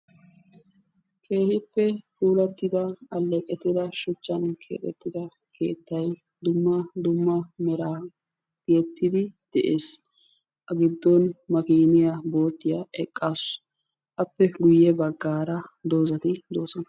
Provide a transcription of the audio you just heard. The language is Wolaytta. keehippe puulatida aleeqettida shuchan keexxettida keettay dumma dumma meran dees, a giddon makiiniya boottiya eqqaasu, appe guye bagaara dozati de'oosona.